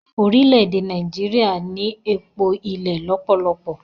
Orile-ede Naijiria ni Epo ilẹ lọpọlọpọ.